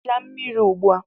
Sichaa mmiri ugbu a!